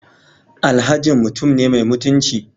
Alhajin mutum ne mai mutunci